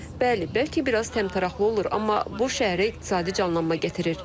Bəli, bəlkə biraz təmtəraqlı olur, amma bu şəhərə iqtisadi canlanma gətirir.